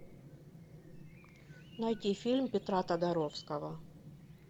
найти фильм петра тодоровского